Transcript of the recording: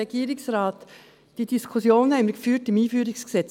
Diese Diskussion haben wir beim EG AIG und AsylG geführt.